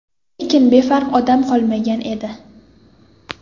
Lekin befarq odam qolmagan edi.